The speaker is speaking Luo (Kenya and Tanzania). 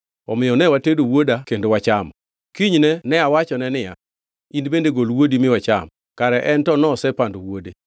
Omiyo ne watedo wuoda kendo wachamo. Kinyne ne awachone niya, In bende gol wuodi mi wacham, kare en to nosepando wuode.